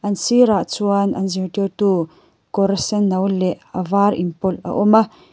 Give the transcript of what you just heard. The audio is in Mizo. an sirah chuan an zirtirtu kawr senno leh a var inpawlh a awm a.